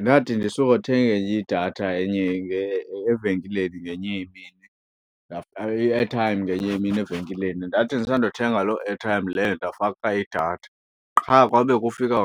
Ndathi ndisukothenga enye idatha enye evenkileni ngenye imini, i-airtime ngenye imini evenkileni. Ndathi ndisandothenga loo artime leyo ndafaka idatha, qha kwabe kufika